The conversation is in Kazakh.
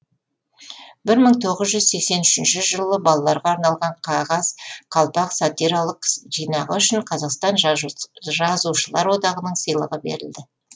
бір мың тоғыз жүз сексен үшінші жылы балаларға арналған қағаз қалпақ сатиралық жинағы үшін қазақстан жазушылар одағының сыйлығы берілді